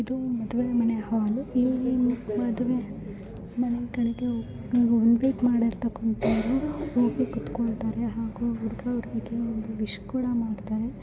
ಇದು ಮದುವೆ ಮನೆ ಹಾಲು ಇಲ್ಲಿ ಒಂದು ಮದುವೆ ಮನೆಗಳಿಗೆ ನೀವೂ ಇನ್ವಿಟ್ ಮಾಡಿರಕಂತಹ ಹಾಗೂ ಕುತ್ಕೋಲೋ ಇದಾರೆ ಹಾಗು ಹುಡ್ಗ ಹುಡ್ಗಿಗೆ ವಿಶ್ ಕೂಡ ಮಾಡತಾರೆ.